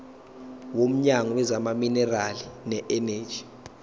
womnyango wezamaminerali neeneji